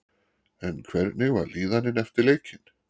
En hvernig var líðanin eftir leikinn?